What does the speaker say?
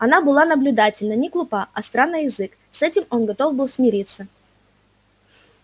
она была наблюдательна не глупа остра на язык с этим он готов был смириться